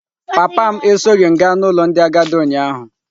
Papa m esoghị m gaa n'ụlọ ndị agadi ụnyaahụ.